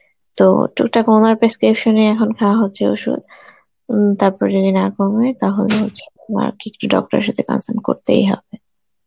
তো টুকটাক ওনার prescription এই এখন খাওয়া হচ্ছে ওষুধ উম তারপর যদি না কমে তাহলে হচ্ছে আমাকে একটু doctor এর সাথে consult করতেই হবে.